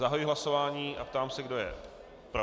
Zahajuji hlasování a ptám se, kdo je pro.